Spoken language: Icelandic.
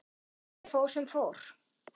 Því miður fór sem fór.